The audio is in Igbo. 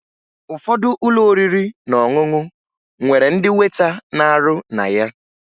Ụfọdụ ụlọ oriri na ọṅụṅụ nwere ndị weta na-arụ na ya